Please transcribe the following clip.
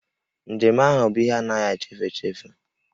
Njem ahụ bụ ihe a na-agahị echefu echefu